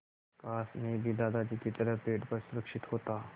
काश मैं भी दादाजी की तरह पेड़ पर सुरक्षित होता